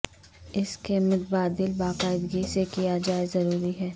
اس کے متبادل باقاعدگی سے کیا جائے ضروری ہے